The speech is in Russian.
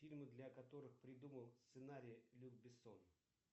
фильмы для которых придумал сценарий люк бессон